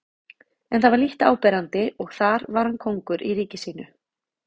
En það var lítt áberandi og þar var hann kóngur í ríki sínu.